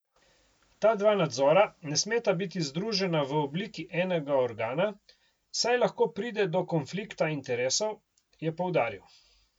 Ta dva nadzora ne smeta biti združena v obliki enega organa, saj lahko pride do konflikta interesov, je poudaril.